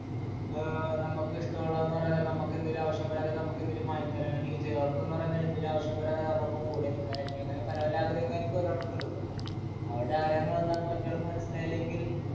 ഏർ നമുക്കിഷ്ട്ടുള്ള എന്ന് പറയാൻ നേരം നമുക്കെന്തെലു ആവശ്യം വരാൻ നേരം നമുക്കെന്തേലു വാങ്ങി തരാൻ ആയിരിക്കു ചേലോർക്കുന്ന് പറയാൻ നേരം എന്തെലു ആവശ്യം വരാൻ നേരം അവരുടൊപ്പം കൂടെ നിക്കാനായിരിക്കും അങ്ങനെ പല പല ആഗ്രഹങ്ങളായിരിക്കു ഓരോരാൾക്ക് ഉള്ളത് അവരുടെ ആഗ്രഹങ്ങളെന്താന്ന് മറ്റയാൾക്ക് മനസ്സിലായില്ലെങ്കിൽ